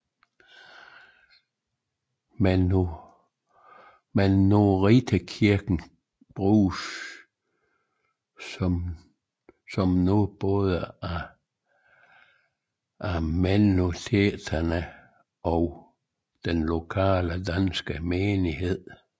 Mennonitterkirken bruges nu både af mennoniterne og den lokale danske menighed